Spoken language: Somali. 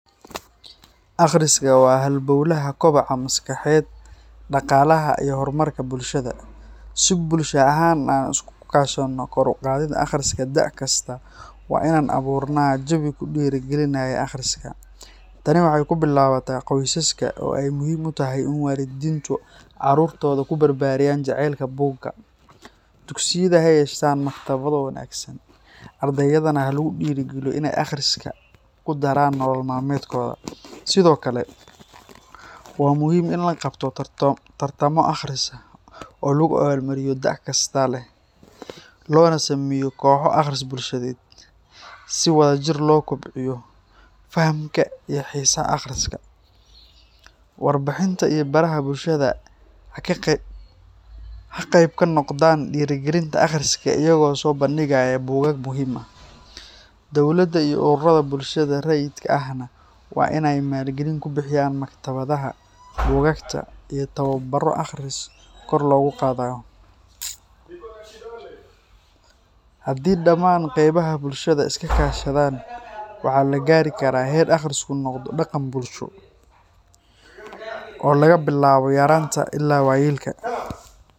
Akhrisku waa halbowlaha kobaca maskaxeed, dhaqaalaha, iyo horumarka bulshada. Si bulsho ahaan aan iskugu kaashanno kor u qaadidda akhriska da’ kasta, waa inaan abuurnaa jawi ku dhiirrigeliya akhriska. Tani waxay ku bilaabataa qoysaska, oo ay muhiim tahay in waalidiintu carruurtooda ku barbaariyaan jacaylka buugga. Dugsiyada ha yeeshaan maktabado wanaagsan, ardaydana ha lagu dhiirrigeliyo in ay akhriska ku daraan nolol maalmeedkooda. Sidoo kale, waa muhiim in la qabto tartamo akhris oo lagu abaalmariyo dadka da’ kasta leh, loona sameeyo kooxo akhris bulsheed si wadajir loo kobciyo fahamka iyo xiisaha akhriska. Warbaahinta iyo baraha bulshada ha qayb ka noqdaan dhiirrigelinta akhriska iyagoo soo bandhigaya buugaag muhiim ah. Dowladda iyo ururrada bulshada rayidka ahna waa inay maalgelin ku bixiyaan maktabadaha, buugaagta, iyo tababarro akhris kor loogu qaadayo. Haddii dhammaan qaybaha bulshada iska kaashadaan, waxaa la gaari karaa heer akhrisku noqdo dhaqan bulsho oo laga bilaabo yaraanta ilaa waayeelka.